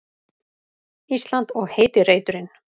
Ísland og heiti reiturinn.